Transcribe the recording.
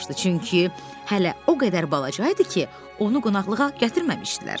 çünki hələ o qədər balaca idi ki, onu qonaqlığa gətirməmişdilər.